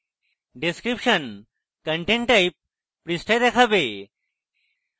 description content type পৃষ্ঠায় দেখাবে